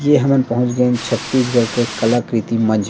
ए हमन पहुंच गेन छत्तीसगढ़ के कलकृति मंच म --